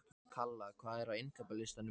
Kalla, hvað er á innkaupalistanum mínum?